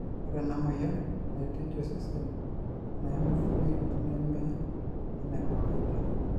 ore ena moyian naitejia osesen naimu fluid neme enekawaida.